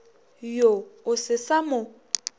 yo o se sa mo